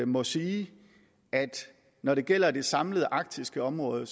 må sige at når det gælder det samlede arktiske område